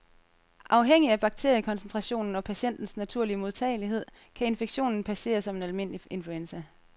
Afhængig af bakteriekoncentrationen og patientens naturlige modtagelighed kan infektionen passere som en almindelig influenza.